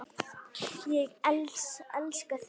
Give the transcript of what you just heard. Ég elskaði þau.